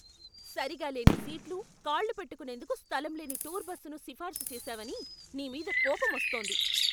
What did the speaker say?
సరిగా లేని సీట్లు, కాళ్ళు పెట్టుకునేందుకు స్థలం లేని టూర్ బస్సును సిఫార్సు చేసావని నీ మీద కోపమొస్తోంది.